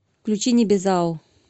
включи небезао